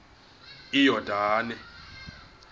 iyordane